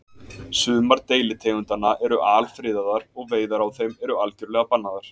sumar deilitegundanna eru alfriðaðar og veiðar á þeim eru algjörlega bannaðar